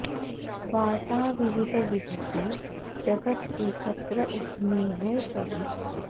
बांटा विविध विध से जगत् एकत्र उसमें है सभी